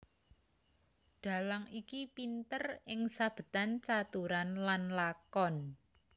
Dhalang iki pinter ing sabetan caturan lan lakon